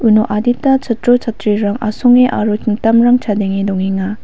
adita chatro chatrirang asonge aro hmm mitamrang chadenge dongenga.